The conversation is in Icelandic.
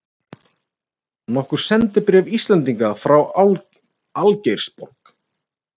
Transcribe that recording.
Nokkur sendibréf Íslendinga frá Algeirsborg.